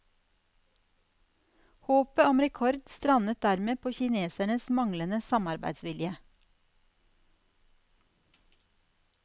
Håpet om rekord strandet dermed på kinesernes manglende samarbeidsvilje.